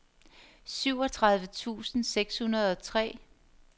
syvogtredive tusind seks hundrede og tre